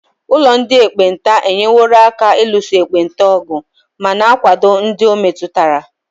Ụlọ ndị ekpenta enyeworo aka n'ịlụso ekpenta ọgụ ma na-akwado ndị ọ metụtara.